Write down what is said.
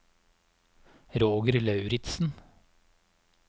Roger Lauritsen